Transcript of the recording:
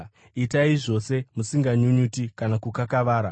Itai zvose musinganyunyuti kana kukakavara,